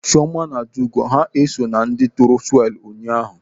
Chioma na Adaugo ha eso na ndị tụrụ swelu ụnyaahụ?